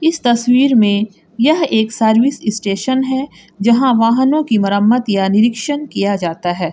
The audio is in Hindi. इस तस्वीर में यह एक सर्विस स्टेशन है जहां वाहनों की मरम्मत या निरीक्षण किया जाता है।